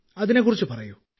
അതിനെക്കുറിച്ച് പറയൂ